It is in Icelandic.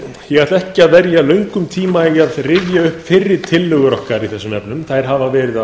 ætla ekki að verja löngum tíma í að rifja upp fyrri tillögur okkar í þessum efnum þær hafa verið